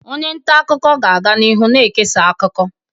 Onye nta akụkọ ga-aga n'ihu na-ekesa akụkọ.